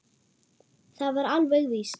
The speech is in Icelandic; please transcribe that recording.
Það var alveg víst.